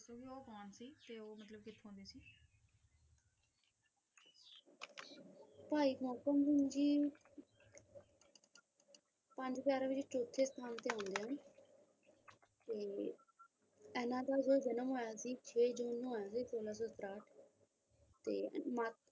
ਭਾਈ ਮੋਹਕਮ ਸਿੰਘ ਜੀ ਪੰਜ ਪਿਆਰਿਆਂ ਵਿੱਚੋਂ ਚੋਥੇ ਸਥਾਨ ਤੇ ਆਉਂਦੇ ਹਨ ਤੇ ਇਹਨਾਂ ਦਾ ਜਿਹੜਾ ਜਨਮ ਹੋਇਆ ਸੀ ਛੇ ਜੂਨ ਨੂੰ ਹੋਇਆ ਸੀ ਸੋਲਾਂ ਸੌ ਤਰਾਹਠ ਤੇ ਮਾਤਾ,